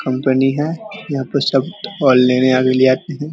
Company है यहाँ पर सब भी आते है ।